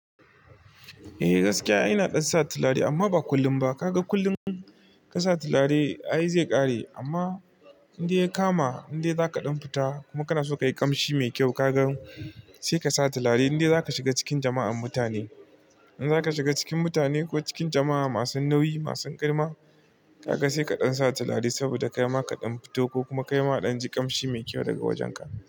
Eh gaskiya, ina ɗan sa turare amma ba kullum ba. Kaga kullum ka sa turare, ai zai ƙare. Amma indai ya kama, inda zaka ɗan fita kuma kana so ka yi kamshi mai kyau, kaga sai ka sa turare. Indai zaka shiga cikin jama'ar mutane, in zaka shiga cikin mutane ko cikin jama'a masu nauyi, masu girma, kaga sai ka ɗan sa turare saboda kai ma ka ɗan fito ko kuma kai ma ka ɗan ji kamshi mai kyau daga wajenka.